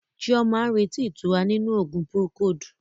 Chioma ń retí ìtura nínú oògùn Procold.